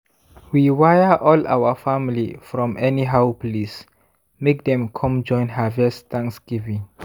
we wire all our family from anyhow place make dem come join harvest thanksgiving.